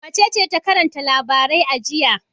Wacece ta karanta labarai a jiya?